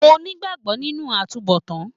Mo n'igbagbọ nínú àtúnbọ̀tán.